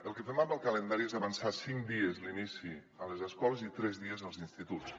el que fem amb el calendari és avançar cinc dies l’inici a les escoles i tres dies als instituts